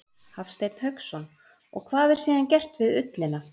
Hafsteinn Hauksson: Og hvað er síðan gert við ullina?